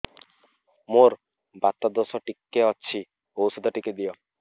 ମୋର୍ ବାତ ଦୋଷ ଟିକେ ଅଛି ଔଷଧ ଟିକେ ଦିଅ